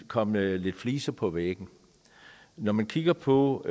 kommet lidt fliser på væggen når man kigger på